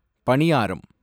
பனியாரம்